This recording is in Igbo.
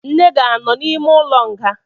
Nne gi anọ n'ime ụlọ nga?